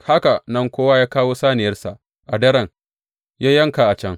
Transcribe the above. Haka nan kowa ya kawo saniyarsa a daren, ya yanka a can.